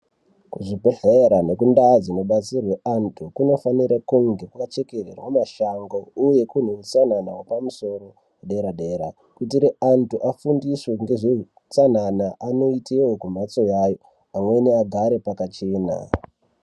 Kuzvibhedhlera nekundaa dzinobatsirwe antu kunofana kunge kwakachekererwa mashango uye kune utsanana wepamusoro dera dera kuitire antu afundiswe ngezveutsanana anoitire kumbatso yayo amweni agare pakachena.